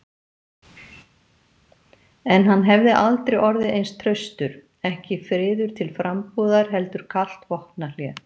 En hann hefði aldrei orðið eins traustur, ekki friður til frambúðar heldur kalt vopnahlé.